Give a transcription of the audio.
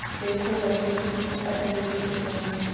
देखो बच्चे तुम इस पचड़े से दूर रहो